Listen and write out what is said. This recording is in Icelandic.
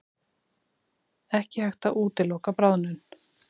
Ekki hægt að útiloka bráðnun